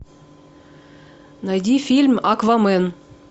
найди фильм аквамен